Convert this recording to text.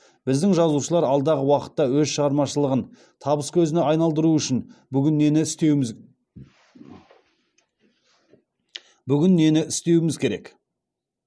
біздің жазушылар алдағы уақытта өз шығармашылығын табыс көзіне айналдыруы үшін бүгін нені істеуіміз керек